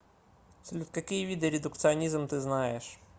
салют какие виды редукционизм ты знаешь